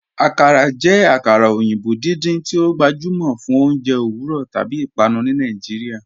Akàrà jẹ akara oyinbo̩ dídíń tí o gbajúmọ fún ọ̀unjẹ̀ owurọ̀ tábí ìpànù ni Nàìjíríà.